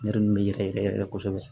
Ne yɛrɛ min bɛ yɛrɛ yɛrɛ kosɛbɛ